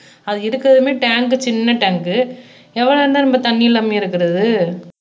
அது எடுக்கறதுமே டேங்க்கு சின்ன டேங்க் எவ்வளவு நேரம் தான் நம்ம தண்ணி இல்லாமயே இருக்கிறது